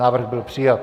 Návrh byl přijat.